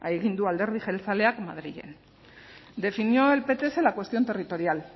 egin du alderdi jeltzaleak madrilen definió el pts la cuestión territorial